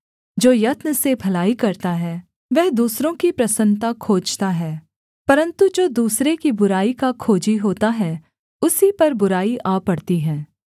जो यत्न से भलाई करता है वह दूसरों की प्रसन्नता खोजता है परन्तु जो दूसरे की बुराई का खोजी होता है उसी पर बुराई आ पड़ती है